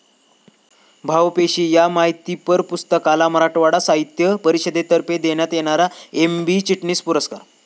भावपेशी' या माहितीपर पुस्तकाला मराठवाडा साहित्य परिषदेतर्फे देण्यात येणारा एम.बी. चिटणीस पुरस्कार